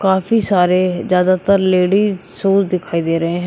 काफी सारे ज्यादातर लेडीज शूज दिखाई दे रहे हैं।